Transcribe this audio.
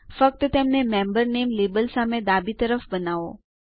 ફક્ત તેમને મેમ્બર નામે લેબલ સામે ડાબી તરફ બનાવો